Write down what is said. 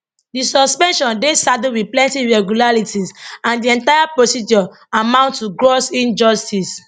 di suspension dey saddled wit plenty irregularities and di entire procedure amount to gross injustice